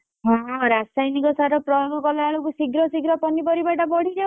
ହଁ ରାସାୟନିକ ସାର ପ୍ରୟୋଗ କଲାବେଳକୁ ଶୀଘ୍ର ଶୀଘ୍ର ପନିପରିବାଟା ବଢି ଯାଉଛି।